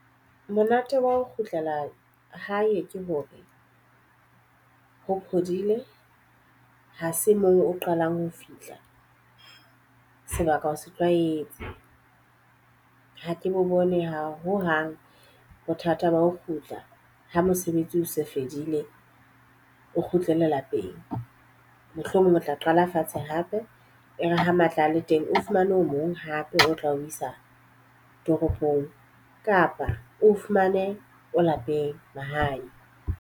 Monate wa ho kgutlela hae ke hore ho phodile ha se moo o qalang ho fihla, sebaka o se tlwaetse. Ha ke bo bone ho hang bothata ba ho kgutla ha mosebetsi o se fedile o kgutlele lapeng. Mohlomong o tla qala fatshe hspe e re ha matla a le teng o fumane o mong hape o tla o isa toropong. Kapa o fumane o lapeng mahae.